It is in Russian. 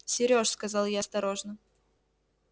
серёж сказал я осторожно